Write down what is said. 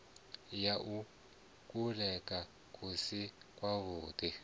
ya kuḽele ku si kwavhuḓi